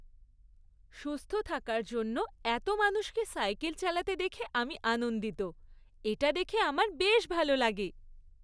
সুস্থ থাকার জন্য এত মানুষকে সাইকেল চালাতে দেখে আমি আনন্দিত। এটা দেখে আমার বেশ ভালো লাগে।